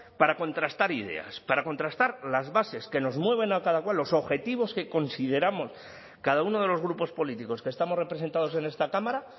para contrastar ideas para contrastar las bases que nos mueven a cada cual los objetivos que consideramos cada uno de los grupos políticos que estamos representados en esta cámara